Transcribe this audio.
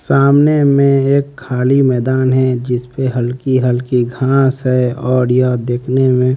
सामने में एक खाली मैदान है जिसपे हल्की हल्की घास है और यह देखने में--